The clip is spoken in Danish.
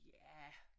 Ja